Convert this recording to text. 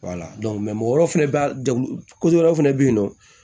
mɔgɔ wɛrɛw fɛnɛ be wɛrɛw fɛnɛ be yen nɔ